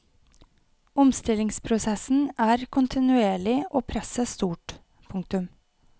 Omstillingsprosessen er kontinuerlig og presset stort. punktum